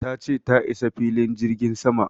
ta ce ta isa filin jirgin sama